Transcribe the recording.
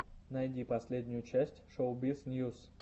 найди последнюю часть шоубиз ньюс